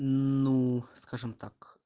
ну скажем так